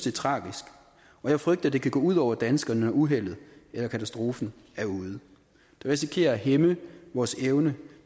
er tragisk og jeg frygter det kan gå ud over danskerne når uheldet eller katastrofen er ude det risikerer at hæmme vores evne